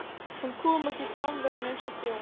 Hún kom ekki fram við hann eins og þjón.